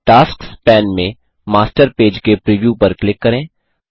tasks pane में master page के preview पर क्लिक करें